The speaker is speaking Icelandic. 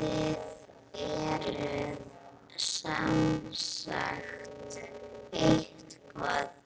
Þið eruð semsagt eitthvað